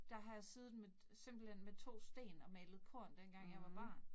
Der har jeg siddet med simpelthen med to sten og malet korn dengang jeg var barn